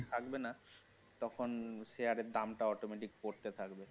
থাকবে না তখন share এর দাম টা automatic পড়তে থাকবে